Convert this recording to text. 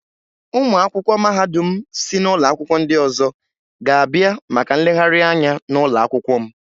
Ụmụ akwụkwọ mahadum si ụlọ akwụkwọ ndị ọzọ ga-abịa maka nlegharị anya n'ụlọ akwụkwọ m.